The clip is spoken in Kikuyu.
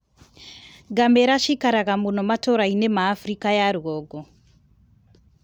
Ngamĩra ciikaraga muno matũra-inĩ ma Afrika ya rũgongo.